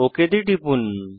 okay তে টিপুন